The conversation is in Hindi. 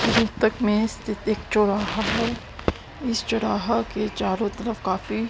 में स्थित एक चौराहा है इस चौराहा के चारों तरफ काफी--